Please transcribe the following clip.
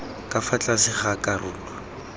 ka fa tlase ga karolo